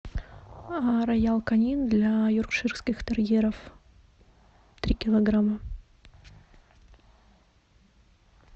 роял канин для йоркширских терьеров три килограмма